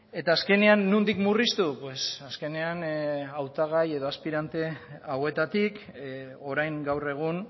eta azkenean nondik murriztu azkenean hautagai edo aspirante hauetatik orain gaur egun